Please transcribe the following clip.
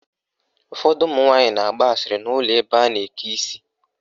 Ụfọdụ ụmụnwaanyị na-agba asịrị n' ụlọ ebe a na-eke isi.